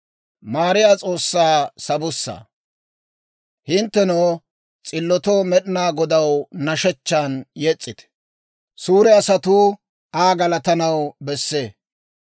Hinttenoo, s'illotoo Med'inaa Godaw nashshechchan yes's'ite; suure asatuu Aa galatanaw bessee.